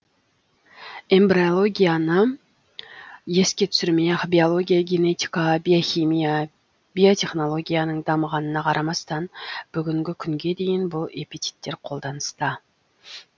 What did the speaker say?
эмбриологияны еске түсірмей ақ биология генетика биохимия биотехнологияның дамығанына қарамастан бүгінгі күнге дейін бұл эпитеттер қолданыста